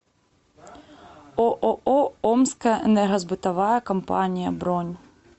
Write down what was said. ооо омская энергосбытовая компания бронь